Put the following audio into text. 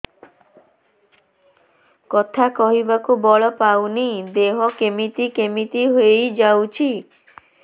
କଥା କହିବାକୁ ବଳ ପାଉନି ଦେହ କେମିତି କେମିତି ହେଇଯାଉଛି